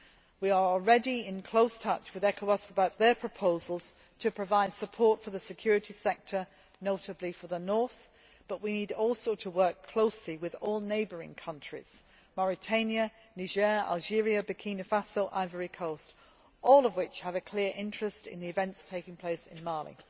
We are already in close touch with ECOWAS concerning their proposals to provide support for the security sector, notably for the North, but we also need to work closely with all neighbouring countries Mauritania, Niger, Algeria, Burkina Faso and Côte d'Ivoire all of which all have a clear interest in the events taking place in Mali.